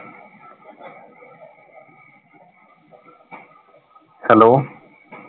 Hello